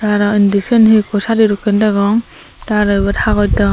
arow indi siyen hee ikko sadi dokken degong tay aro yot haboj degong.